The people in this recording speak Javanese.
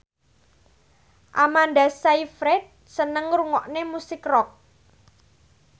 Amanda Sayfried seneng ngrungokne musik rock